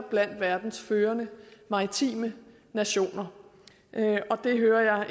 blandt verdens førende maritime nationer og det hører jeg